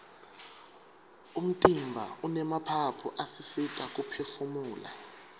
umtimba unemaphaphu asisita kuphefumula